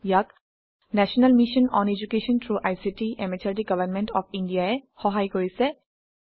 ইয়াক national mission on education through ICT MHRD government of India ই সহায় কৰিছে